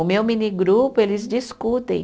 O meu mini grupo, eles discutem.